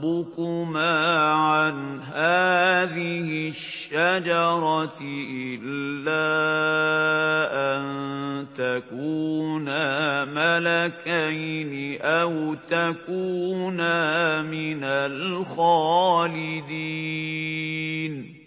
رَبُّكُمَا عَنْ هَٰذِهِ الشَّجَرَةِ إِلَّا أَن تَكُونَا مَلَكَيْنِ أَوْ تَكُونَا مِنَ الْخَالِدِينَ